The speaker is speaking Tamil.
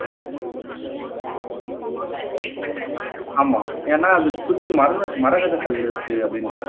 ஆமா ஏன்னா அதை சுத்தி மரக மரகத கல் இருக்கு அப்படின்றாங்க